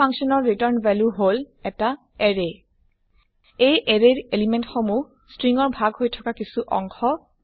এই ফাংচন ৰ return value হল এটা এৰে এই এৰে ৰ এলিমেন্ট সমুহ ষ্ট্ৰিং ৰ ভাগ হৈ থকা কিছু অংশ